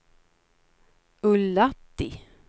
Ullatti